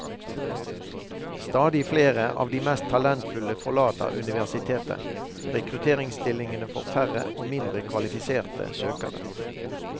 Stadig flere av de mest talentfulle forlater universitetet, rekrutteringsstillingene får færre og mindre kvalifiserte søkere.